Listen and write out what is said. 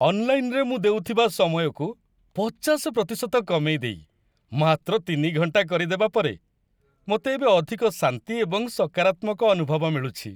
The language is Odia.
ଅନ୍‌ଲାଇନରେ ମୁଁ ଦେଉଥିବା ସମୟକୁ ୫୦ ପ୍ରତିଶତ କମେଇ ଦେଇ ମାତ୍ର ୩ ଘଣ୍ଟା କରିଦେବା ପରେ, ମୋତେ ଏବେ ଅଧିକ ଶାନ୍ତି ଏବଂ ସକାରାତ୍ମକ ଅନୁଭବ ମିଳୁଛି।